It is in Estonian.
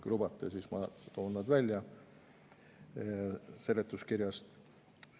Kui lubate, siis ma toon need välja seletuskirjast.